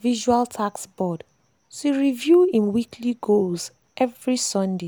visual task board to review him weekly goals every sundays.